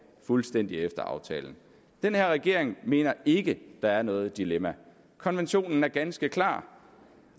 fuldstændig efter aftalen den her regering mener ikke der er noget dilemma konventionen er ganske klar